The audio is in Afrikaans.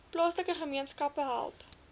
plaaslike gemeenskappe help